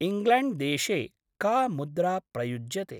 इङ्ग्ल्याण्ड्‌देशे का मुद्रा प्रयुज्यते?